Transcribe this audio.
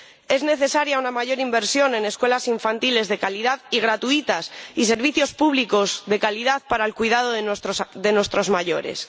Es necesaria una mayor inversión en escuelas infantiles de calidad y gratuitas y en servicios públicos de calidad para el cuidado de nuestros mayores.